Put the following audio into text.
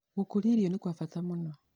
Gũkũria irio nĩ kwa bata mũno.